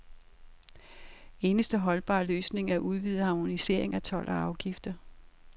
Eneste holdbare løsning er udvidet harmonisering af told og afgifter.